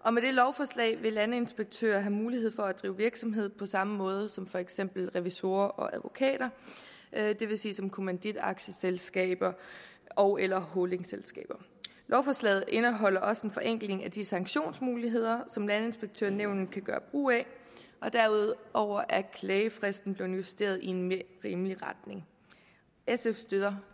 og med dette lovforslag vil landinspektører have mulighed for at drive virksomhed på samme måde som for eksempel revisorer og advokater det vil sige som kommanditaktieselskaber ogeller holdingselskaber lovforslaget indeholder også en forenkling af de sanktionsmuligheder som landinspektørnævnet kan gøre brug af og derudover er klagefristen blevet justeret i mere rimelig retning sf støtter